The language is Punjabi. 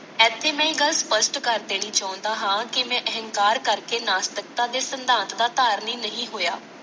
ਇਥੇ ਮੈਂ ਇਕ ਗੱਲ ਸਪਸ਼ਟ ਕਰ ਦੇਣੀ ਚਾਹੁੰਦਾ ਹਾਂ ਕਿ ਮੈਂ ਅਹੰਕਾਰ ਕਰਕੇ ਨਾਸਤਿਕਤਾ ਦੇ ਸਿਧਾਂਤ ਦਾ ਧਾਰਨੀ ਨਹੀਂ ਹੋਇਆ।